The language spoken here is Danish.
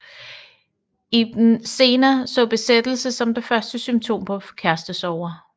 Ibn Sena så besættelse som det første symptom på kærestesorger